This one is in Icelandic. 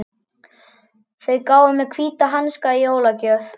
Þau gáfu mér hvíta hanska í jólagjöf.